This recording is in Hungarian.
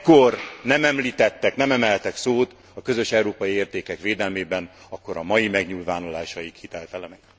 Ha ekkor nem említettek, nem emeltek szót a közös európai értékek védelmében, akkor a mai megnyilvánulásaik hiteltelenek.